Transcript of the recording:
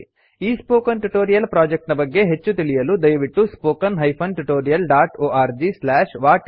ಈ spoken tutorial project ನ ಬಗ್ಗೆ ಹೆಚ್ಚು ತಿಳಿಯಲು ದಯವಿಟ್ಟು spoken tutorialorgWhat is a Spoken Tutorial ಎಂಬ ಲಿಂಕ್ ನಲ್ಲಿ ಸಿಗುವ ವೀಡಿಯೋ ವನ್ನು ನೋಡಿ